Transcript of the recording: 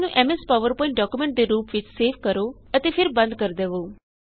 ਇਸਨੂੰ M S power point document ਦੇ ਰੂਪ ਵਿੱਚ ਸੇਵ ਕਰੋ ਅਤੇ ਫਿਰ ਬੰਦ ਕਰ ਦਵੋ